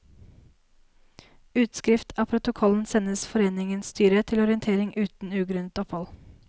Utskrift av protokollen sendes foreningens styre til orientering uten ugrunnet opphold.